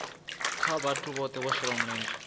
kha vhoṱhe vho shelaho mulenzhe